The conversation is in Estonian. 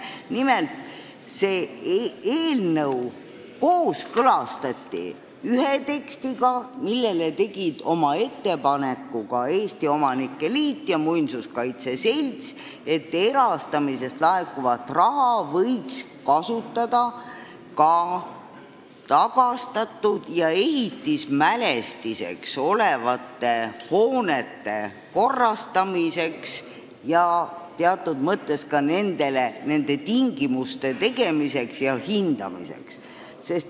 Nimelt, see eelnõu kooskõlastati ühe tekstiga, milles Eesti Omanike Keskliit ja Eesti Muinsuskaitse Selts tegid ettepaneku, et erastamisest laekuvat raha võiks kasutada ka tagastatud ehitismälestistest hoonete korrastamiseks ning nendele esitatavate eritingimuste koostamiseks ja hoonete hindamiseks.